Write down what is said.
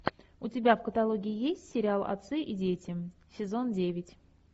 у тебя в каталоге есть сериал отцы и дети сезон девять